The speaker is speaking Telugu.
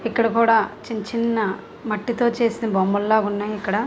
ఇక్కడ కుడ చిన్ చిన్న మట్టితో చేసిన బొమ్మలాగున్నయ్ ఇక్కడ --